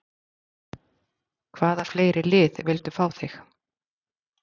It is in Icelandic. Hvaða fleiri lið vildu fá þig?